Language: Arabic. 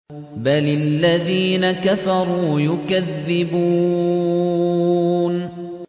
بَلِ الَّذِينَ كَفَرُوا يُكَذِّبُونَ